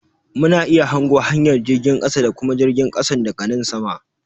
Mu na iya hango hanyar jirgin kasa da kuma jirgin kasan da ga nan sama.